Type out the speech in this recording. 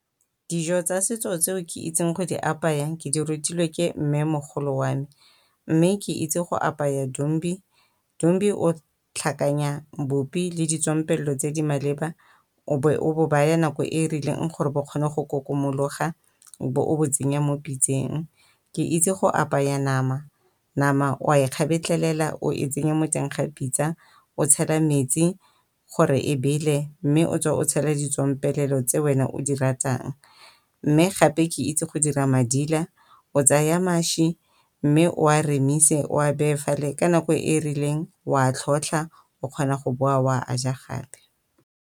Dijo tsa setso tseo ke itseng go di apayang ke di rutilwe ke mmemogolo wa me mme ke itse go apaya dombi. Dombi o tlhakanya bupi le ditswampelo tse di maleba o be o bo baya nako e e rileng gore bo kgone go kokomologa o be o bo tsenya mo pitseng. Ke itse go apaya nama, nama o a e kgabetlhelela o e tsenya mo teng ga pitsa o tshela metsi gore e bele mme o tswe o tshele ditswampelo tse wena o di ratang. Mme gape ke itse go dira madila o tsaya mašwi, mme o a remise o a beye fale ka nako e e rileng o a a tlhotlha o kgona go boa o a a ja gape.